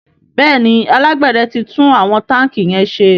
Béèni alágbède tí tún àwọn tanki yén ṣe.